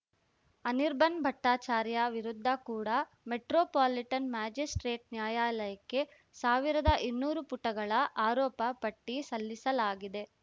ಅನಿರ್ಬನ್‌ ಭಟ್ಟಾಚಾರ್ಯ ವಿರುದ್ಧ ಕೂಡ metropolitan magistrate ನ್ಯಾಯಾಲಯಕ್ಕೆ ಸಾವಿರದ ಇನ್ನೂರು ಪುಟಗಳ ಆರೋಪಪಟ್ಟಿಸಲ್ಲಿಸಲಾಗಿದೆ